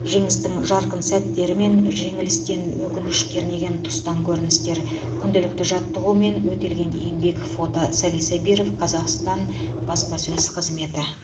жеңістің жарқын сәттері мен жеңілістен өкініш кернеген тұстан көріністер күнделікті жаттығу мен өтелген еңбек фото сали сабиров қазақстан баспасөз қызметі